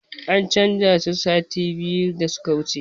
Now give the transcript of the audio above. An canza su sati biyu da suka wuce